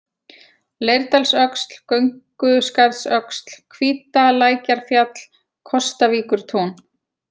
Leirdalsöxl, Gönguskarðsöxl, Hvítalækjarfjall, Kotavíkurtún